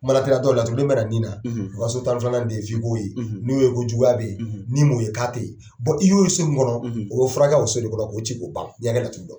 Kuma lateliya la dɔw la, laturu den min bɛ na ni na, ,o ka so tan ni filanan den f'i ko ye, , n'u ye ko juguya bɛ ye, , ni m'o ye k'a tɛ yen, , i y'o so min kɔnɔ, ,o bɛ furakɛ o so de kɔnɔ k'o ci k'o ban. N ye n ka laturu dɔn.